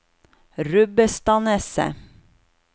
Rubbestadneset